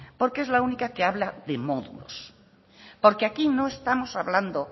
porque es la única que habla de módulos porque aquí no estamos hablando